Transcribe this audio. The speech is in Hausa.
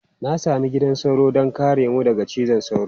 Na sami gidan sauro don kare mu daga cizon sauro.